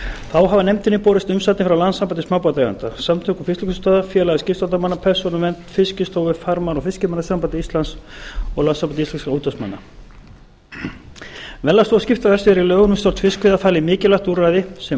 þá hafa nefndinni borist umsagnir frá landssambandi smábátaeigenda samtökum fiskvinnslustöðva félagi skipstjórnarmanna persónuvernd fiskistofu farmanna og fiskimannasambandi íslands og landssambandi íslenskra útvegsmanna verðlagsstofu skiptaverðs er í lögum um stjórn fiskveiða falið mikilvægt úrræði sem